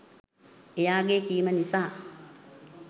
එයාගේ කීම නිසා